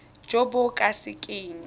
jo bo ka se keng